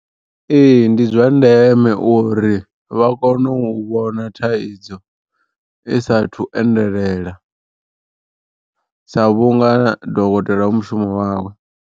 Ee ndi zwa ndeme uri vha kono u vhona thaidzo i saathu endelela, sa vhunga dokotela hu mushumo wawe.